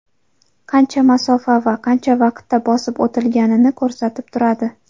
Qancha masofa va qancha vaqtda bosib o‘tilganini ko‘rsatib turadi.